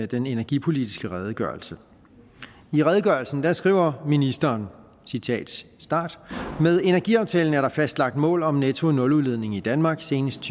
den energipolitiske redegørelse i redegørelsen skriver ministeren med energiaftalen er der fastlagt mål om netto nuludledning i danmark senest